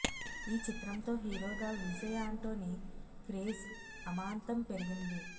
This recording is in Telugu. ఈ చిత్రంతో హీరోగా విజయ్ ఆంటోని క్రేజ్ అమాంతం పెరిగింది